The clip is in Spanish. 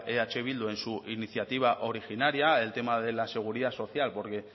eh bildu en su iniciativa originaria el tema de la seguridad social porque